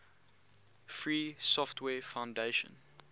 free software foundation